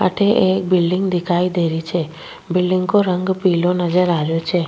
अठे एक बिलडिंग दिखाई दे रही छे बिलडिंग को रंग पिलो नजर आ रही छे।